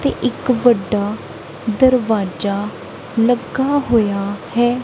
ਤੇ ਇੱਕ ਵੱਡਾ ਦਰਵਾਜਾ ਲੱਗਾ ਹੋਇਆ ਹੈ।